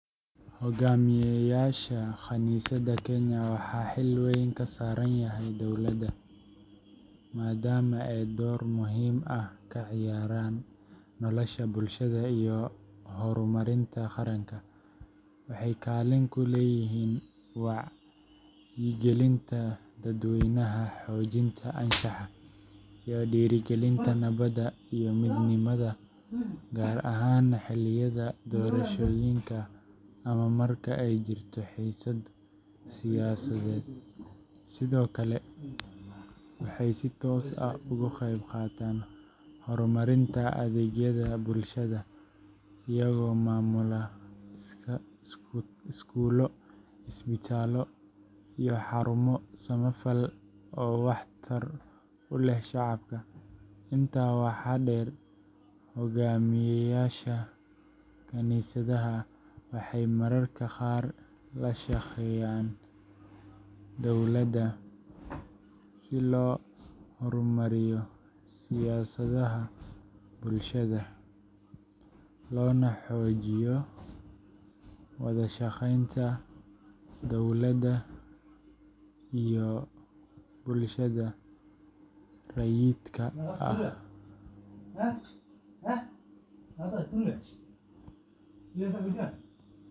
Hoggaamiyeyaasha kaniisadaha Kenya waxa xil uga yaalla dowladda dhowr siyaabood oo muhiim ah, maadaama ay ka mid yihiin hay’adaha bulshada saameynta weyn ku leh nolosha dadweynaha. Xilkaasi wuxuu noqon karaa mid: Xagga Anshaxa iyo Wacyigelinta Dadweynaha: Kaniisaduhu waxay door weyn ka qaataan dhiirrigelinta anshaxa wanaagsan, wada noolaanshaha, iyo nabadda. Hoggaamiyeyaasha kaniisadaha waxaa laga filayaa inay ka shaqeeyaan xasilloonida bulshada, gaar ahaan marka ay jirto xiisad siyaasadeed ama is-qabqabsi. Ka Qaybgalka Horumarinta Bulshada: Waxay gacan ka geystaan waxbarashada, caafimaadka, iyoHoggaamiyeyaasha kaniisadaha Kenya waxaa xil weyn ka saaran yahay dowladda, maadaama ay door muhiim ah ka ciyaaraan nolosha bulshada iyo horumarinta qaranka. Waxay kaalin ku leeyihiin wacyigelinta dadweynaha, xoojinta anshaxa, iyo dhiirrigelinta nabadda iyo midnimada gaar ahaan xilliyada doorashooyinka ama marka ay jirto xiisad siyaasadeed. Sidoo kale, waxay si toos ah uga qayb qaataan horumarinta adeegyada bulshada iyagoo maamula iskuullo, isbitaallo, iyo xarumo samafal oo wax tar u leh shacabka. Intaa waxaa dheer, hoggaamiyeyaasha kaniisadaha waxay mararka qaar la shaqeeyaan dowladda si loo horumariyo siyaasadaha bulshada, loona xoojiyo wada shaqeynta dowladda iyo bulshada rayidka ah.